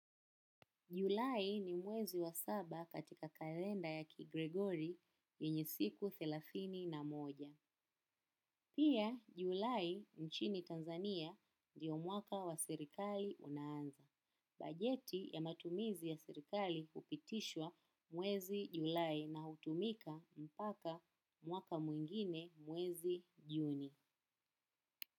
Julai ni mwezi wa saba katika kalenda ya kigregori yenye siku thelathini na moja. Pia julai nchini Tanzania ndio mwaka wa serikali unaanza. Bajeti ya matumizi ya sirikali hupitishwa mwezi julai na hutumika mpaka mwaka mwingine mwezi juni.